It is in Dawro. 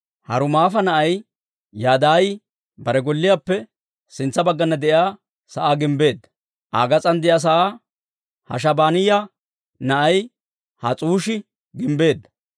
Harumaafa na'ay Yadaayi bare golliyaappe sintsa baggana de'iyaa sa'aa gimbbeedda. Aa gas'aan de'iyaa sa'aa Hashaabaniyaa na'ay Has's'uushi gimbbeedda.